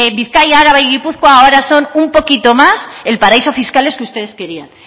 bizkaia gipuzkoa grabazio akatsa fiscales que ustedes querían